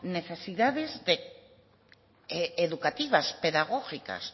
necesidades educativas pedagógicas